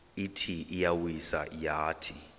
ithi iyawisa yathi